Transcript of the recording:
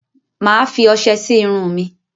Mà á fi ọṣe sí irun mi.